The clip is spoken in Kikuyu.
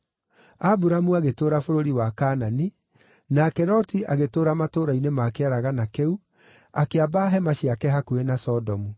Aburamu agĩtũũra bũrũri wa Kaanani, nake Loti agĩtũũra matũũra-inĩ ma kĩaragana kĩu, akĩamba hema ciake hakuhĩ na Sodomu.